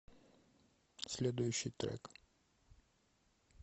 следующий трек